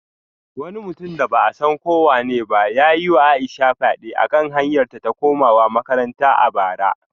Wani mutum da ba a san ko wanene ba ya yi wa Aisha fyade a kan hanyarta ta komawa makaranta a bara